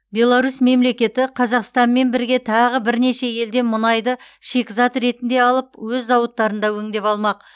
беларусь мемлекеті қазақстанмен бірге тағы бірнеше елден мұнайды шикізат ретінде алып өз зауыттарында өңдеп алмақ